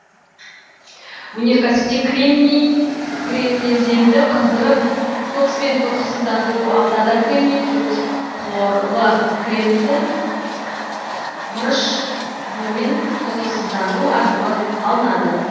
өнеркәсіпте кремний кремнеземді қыздырып кокспен тотықсыздандыру ал таза кремний төрт хлорлы кремнийді мырыш буымен тотықсыздандыру арқылы алынады